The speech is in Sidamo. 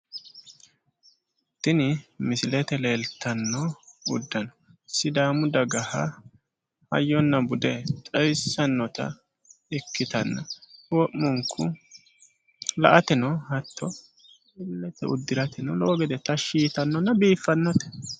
Tini misilete leeltanno uddano sidaamu dagaha hayyonna bude xawissannota ikkitanna wo'munku la''ateno hatto illete uddirateno lowo gede tashshi yitannona biiffannote.